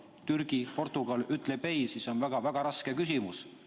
Kui Türgi või Portugal ütleb ei, siis on see väga-väga raske küsimus.